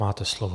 Máte slovo.